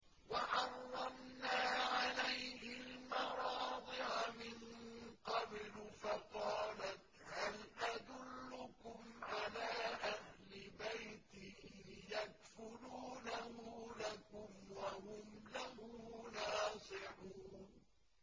۞ وَحَرَّمْنَا عَلَيْهِ الْمَرَاضِعَ مِن قَبْلُ فَقَالَتْ هَلْ أَدُلُّكُمْ عَلَىٰ أَهْلِ بَيْتٍ يَكْفُلُونَهُ لَكُمْ وَهُمْ لَهُ نَاصِحُونَ